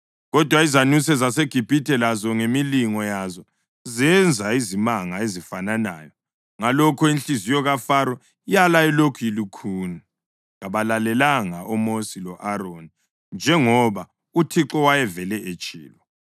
Kodwa izanuse zaseGibhithe lazo ngemilingo yazo zenza izimanga ezifananayo. Ngalokho inhliziyo kaFaro yala ilokhu ilukhuni. Kabalalelanga oMosi lo-Aroni njengoba uThixo wayevele etshilo.